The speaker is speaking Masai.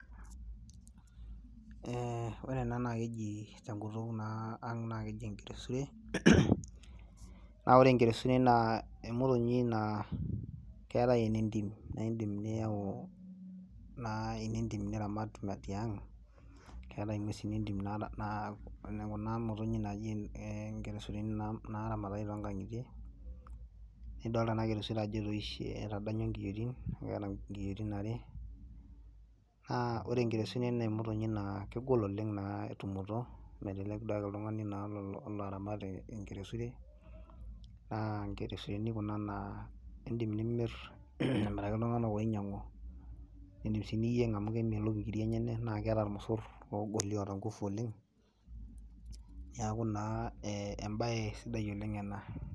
Ee ore ena naa ekeji tenkutuk naa ang' naa keji enkeresure naa ore enkeresure naa emotonyi naa keetai ene ntim naa iindim niyau ene ntim naa niramat tiang' , keetai nguesi entim naa kuna motonyik naaji ee nkeresureni naaramatitai toonkang'itie nidolta ena keresure ajo etoishe ketadanyua nkiyoitin keeta nkiyoitin are naa ore enkeresure naa emotonyik naa kegol oleng' naa tumoto melelek akeduo oltung'ani olo aramat enkeresure naa nekeresureni kuna naa indim nimirr amiraki iltung'anak oinyiang'u niidim sii niyieng' amu kemelok nkiri enye naa keeta irmosorr loogoli oota nguvu oleng' neeku naa ee embaye sidai oleng' ena.